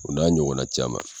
O n'a ɲɔgɔnna caman.